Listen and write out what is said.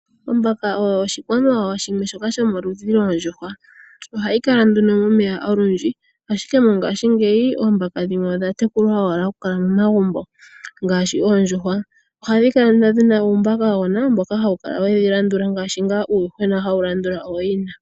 Oombaka oyo oshikwamawawa shimwe shoka shomoludhi goondjuhwa. Ohashi Kala nduno momeya olundji, ashike dhongaashingeyi oombaka dhimwe odha tekulwa owala momagumbo ngaashi oondjuhwa. Ohadhi kala nduno ndhina uumbakagona wedhi landula ngaashi ngaa uuyuhwena hawu landula ooyina.